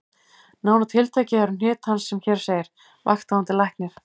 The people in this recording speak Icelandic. Nánar tiltekið eru hnit hans sem hér segir: Vakthafandi Læknir